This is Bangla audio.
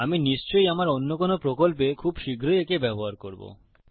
আমি নিশ্চই আমার অন্য কোনো প্রকল্পে খুব শীঘ্রই একে ব্যবহার করবো